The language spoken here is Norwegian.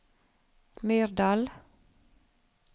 Myrdal